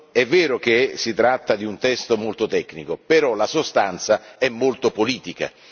È vero che si tratta di un testo molto tecnico, però la sostanza è molto politica.